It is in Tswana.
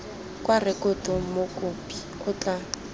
kwa rekotong mokopi o tla